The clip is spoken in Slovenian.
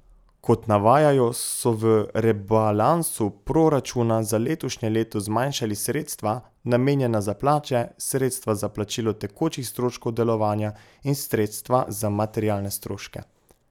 Kot navajajo, so v rebalansu proračuna za letošnje leto zmanjšali sredstva, namenjena za plače, sredstva za plačilo tekočih stroškov delovanja in sredstva za materialne stroške.